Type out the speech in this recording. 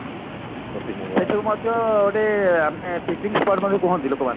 ଏଠି ମଧ୍ୟ ଗୋଟେ ଆମେ picnic spot ମଧ୍ୟ କୁହନ୍ତି ଲୋକମାନେ